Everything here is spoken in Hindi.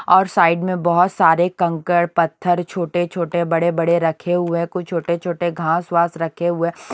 और साइड में बहुत सारे कंकड़ पत्थर छोटे छोटे बड़े बड़े रखे हुए हैं कुछ छोटे छोटे घास वास रखे हुए हैं ।